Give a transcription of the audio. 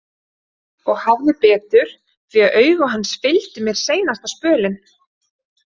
Og hafði betur því að augu hans fylgdu mér seinasta spölinn.